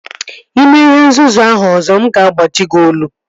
Ị mee ihe nzuzu ahụ ọzọ nga agbaji gị olu